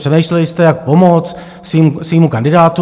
Přemýšleli jste, jak pomoct svému kandidátu.